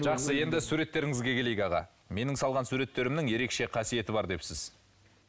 жақсы енді суреттеріңізге келейік аға менің салған суреттерімнің ерекше қасиеті бар депсіз